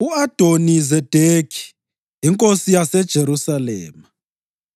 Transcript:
U-Adoni-Zedekhi inkosi yaseJerusalema